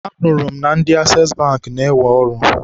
Anụrụ m na ndị Asees Bankị na-ewe ọrụ.